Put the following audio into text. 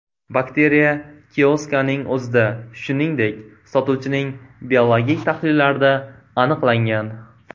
Bakteriya kioskaning o‘zida, shuningdek, sotuvchining biologik tahlillarida aniqlangan.